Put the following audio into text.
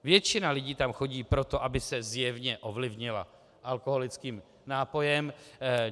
Většina lidí tam chodí proto, aby se zjevně ovlivnila alkoholickým nápojem.